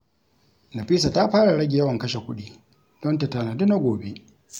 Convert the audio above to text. Nafisa ta fara rage yawan kashe kuɗi don ta tanadi na gobe.